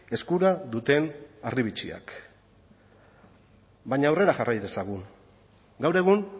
eskura duten harribitxiak baina aurrera jarrai dezagun gaur egun